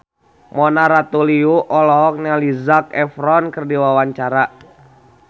Mona Ratuliu olohok ningali Zac Efron keur diwawancara